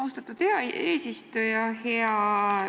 Austatud eesistuja!